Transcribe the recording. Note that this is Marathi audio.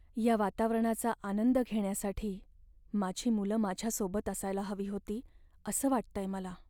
या वातावरणाचा आनंद घेण्यासाठी माझी मुलं माझ्यासोबत असायला हवी होती असं वाटतंय मला.